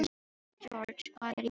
George, hvað er í matinn?